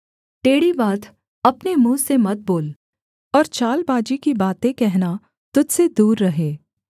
टेढ़ी बात अपने मुँह से मत बोल और चालबाजी की बातें कहना तुझ से दूर रहे